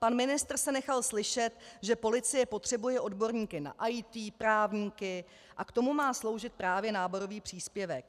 Pan ministr se nechal slyšet, že policie potřebuje odborníky na IT, právníky, a k tomu má sloužit právě náborový příspěvek.